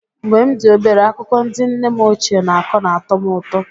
Mgbe m dị obere, akụkọ ndị nne m ochie na-akọ na-atọ m ụtọ.